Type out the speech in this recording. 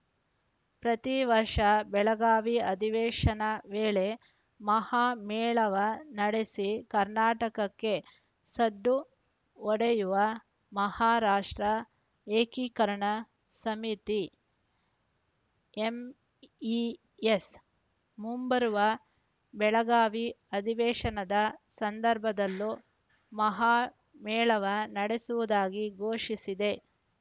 ಪ್ರತಿ ವರ್ಷ ಬೆಳಗಾವಿ ಅಧಿವೇಶನ ವೇಳೆ ಮಹಾಮೇಳಾವ ನಡೆಸಿ ಕರ್ನಾಟಕಕ್ಕೆ ಸಡ್ಡು ಹೊಡೆಯುವ ಮಹಾರಾಷ್ಟ್ರ ಏಕೀಕರಣ ಸಮಿತಿ ಎಂಇಎಸ್‌ ಮುಂಬರುವ ಬೆಳಗಾವಿ ಅಧಿವೇಶನದ ಸಂದರ್ಭದಲ್ಲೂ ಮಹಾಮೇಳಾವ ನಡೆಸುವುದಾಗಿ ಘೋಷಿಸಿದೆ